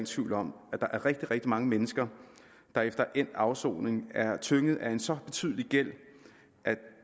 tvivl om at der er rigtig rigtig mange mennesker der efter endt afsoning er tynget af en så betydelig gæld at